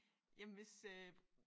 Jamen hvis øh